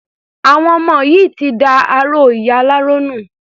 Àwọn ọmọ yìí ti da aró ìyá aláró nù.